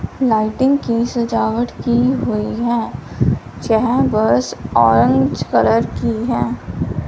Lighting की सजावट की हुई है यह बस ऑरेंज कलर की है।